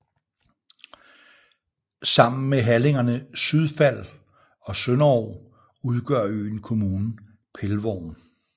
Sammen med halligerne Sydfald og Sønderog udgør øen kommunen Pelvorm